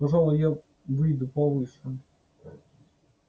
пожалуй и я выйду повыше